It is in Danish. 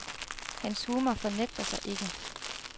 Hans humor fornægter sig ikke.